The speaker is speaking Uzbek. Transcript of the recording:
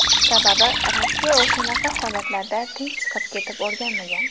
Sababi, Rossiya o‘shanaqa holatlarda tinch chiqib ketib o‘rganmagan.